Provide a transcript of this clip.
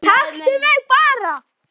Taktu mig bara